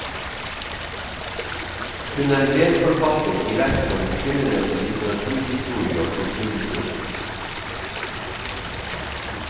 Hun er medforfatter i verk om kvinnenes litteraturhistorie og kulturhistorie.